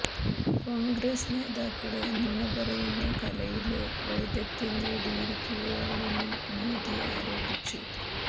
കോണ്ഗ്രസ് നേതാക്കള് നുണ പറയുന്ന കലയില് വൈദഗ്ധ്യം നേടിയിരിക്കുകയാണെന്നും മോദി ആരോപിച്ചു